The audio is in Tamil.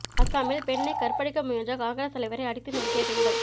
அஸ்ஸாமில் பெண்ணை கற்பழிக்க முயன்ற காங்கிரஸ் தலைவரை அடித்து நொறுக்கிய பெண்கள்